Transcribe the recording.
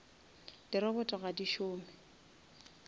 di robot ga di šome